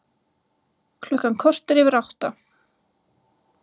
Klukkan korter yfir átta